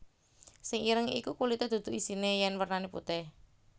Sing ireng iku kulité dudu isine yen isine wernane putéh